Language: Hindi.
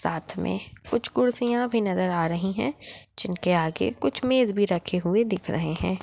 साथ मे कुछ कुर्सिया भी नज़र आ रही है जिनके आगे कुछ मेज़ रखे हुए दिख रहे है।